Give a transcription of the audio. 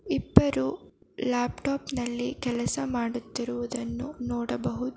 ಇಬ್ಬರು ಲ್ಯಾಪ್ಟಾಪ್ ನಲ್ಲಿ ಕೆಲಸ ಮಾಡುತ್ತಿರುವುದನ್ನು ನೋಡಬಹುದು.